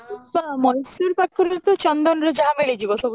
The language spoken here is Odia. ହଁ, Mysore ପାଖରେ ତ ଚନ୍ଦନ ର ଯାହା ମିଳି ଯିବ ସବୁ